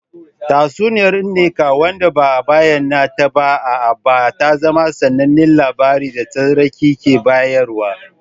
Tatsuniyar Nneka wanda ba a bayyana ta ba a Aba ta zama sanannen labari da tsararraki ke bayarwa.